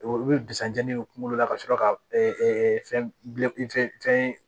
Olu bɛ bisan jeni kunkolo la ka sɔrɔ ka fɛn